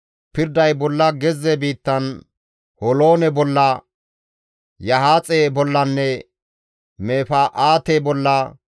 Pirday bolla gezze biittan Holoone bolla, Yahaaxe bollanne Mefa7aate bolla,